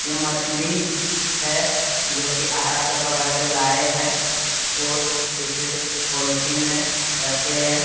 ये मछली है जो की अहरा से पकड़ के लाए हैं और इसे पॉलिथीन में रखे हैं।